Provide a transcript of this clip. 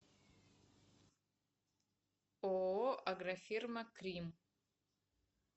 ооо агрофирма кримм